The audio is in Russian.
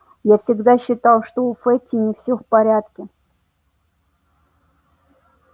я всегда считал что у фэтти не всё в порядке